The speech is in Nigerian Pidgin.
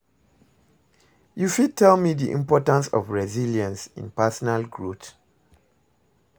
you fit tell me di importance of resilience in personal growth?